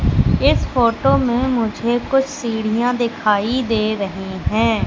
इस फोटो में मुझे कुछ सीढ़ियां दिखाई दे रही हैं।